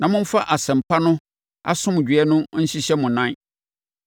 na momfa Asɛmpa no asomdwoeɛ no nhyehyɛ mo nan.